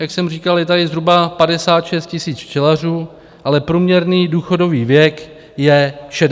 Jak jsem říkal, je tady zhruba 56 tisíc včelařů, ale průměrný důchodový věk je 60 let.